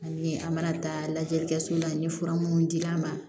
Ani an mana taa lajɛli kɛ so la n ye fura minnu di a ma